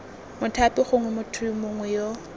mothapi gongwe motho mongwe yo